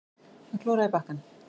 Að klóra í bakkann